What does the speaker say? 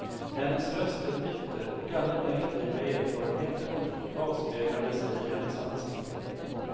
Hennes röst lät bitter, och alla negativa erfarenheter hon gjort avspeglade sig i hennes ansikte.